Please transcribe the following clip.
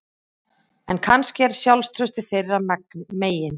En kannski er sjálfstraustið þeirra megin